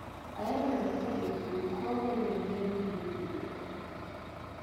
Ahero neno kaka jopur kowone jonyiewo gige puodho.